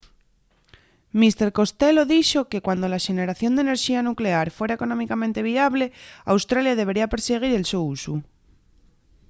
mr costello dixo que cuando la xeneración d’enerxía nuclear fuera económicamente viable australia debería persiguir el so usu